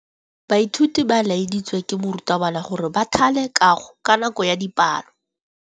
Baithuti ba laeditswe ke morutabana gore ba thale kagô ka nako ya dipalô.